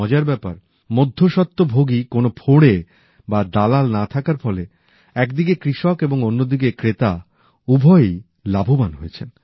মজার ব্যাপার মধ্যস্বত্বভোগী কোন ফড়ে বা দালাল না থাকার ফলে একদিকে কৃষক এবং অন্যদিকে ক্রেতা উভয়েই লাভবান হয়েছেন